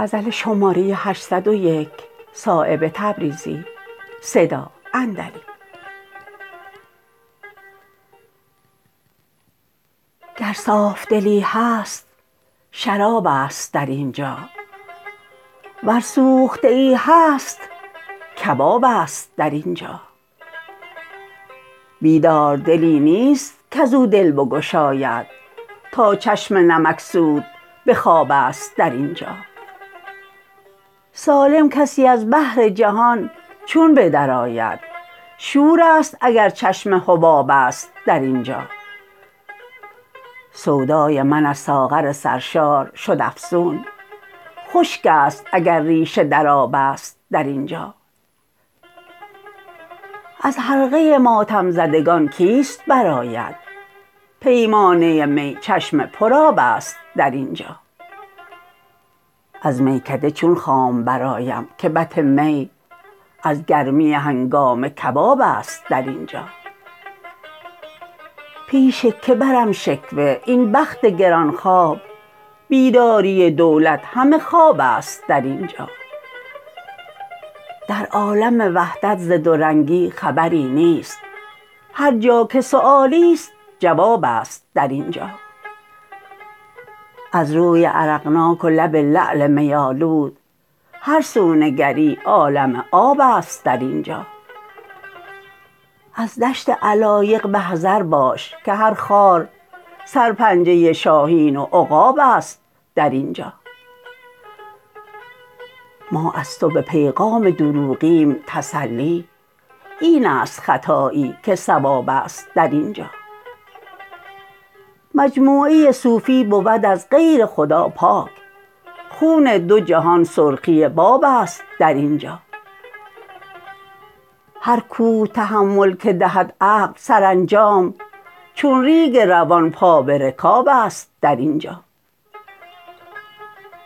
گر صافدلی هست شراب است در اینجا ور سوخته ای هست کباب است در اینجا بیدار دلی نیست کز او دل بگشاید تا چشم نمکسود به خواب است در اینجا سالم کسی از بحر جهان چون بدر آید شورست اگر چشم حباب است در اینجا سودای من از ساغر سرشار شد افزون خشک است اگر ریشه در آب است در اینجا از حلقه ماتم زدگان کیست برآید پیمانه می چشم پر آب است در اینجا از میکده چون خام برآیم که بط می از گرمی هنگامه کباب است در اینجا پیش که برم شکوه این بخت گرانخواب بیداری دولت همه خواب است در اینجا در عالم وحدت ز دو رنگی خبری نیست هر جا که سؤالی است جواب است در اینجا از روی عرقناک و لب لعل می آلود هر سو نگری عالم آب است در اینجا از دشت علایق به حذر باش که هر خار سرپنجه شاهین و عقاب است در اینجا ما از تو به پیغام دروغیم تسلی این است خطایی که صواب است در اینجا مجموعه صوفی بود از غیر خدا پاک خون دو جهان سرخی باب است در اینجا هر کوه تحمل که دهد عقل سرانجام چون ریگ روان پا به رکاب است در اینجا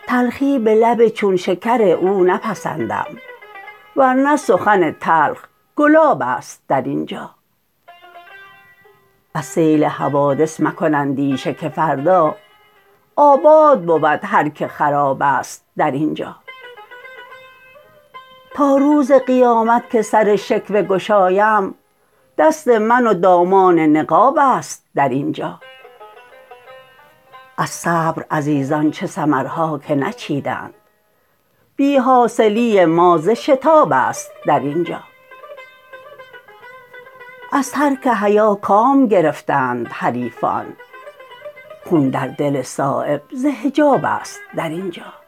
تلخی به لب چون شکر او نپسندم ورنه سخن تلخ گلاب است در اینجا از سیل حوادث مکن اندیشه که فردا آباد بود هر که خراب است در اینجا تا روز قیامت که سر شکوه گشایم دست من و دامان نقاب است در اینجا از صبر عزیزان چه ثمرها که نچیدند بی حاصلی ما ز شتاب است در اینجا از ترک حیا کام گرفتند حریفان خون در دل صایب ز حجاب است در اینجا